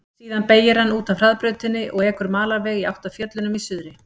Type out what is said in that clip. Síðan beygir hann út af hraðbrautinni og ekur malarveg í átt að fjöllunum í suðri.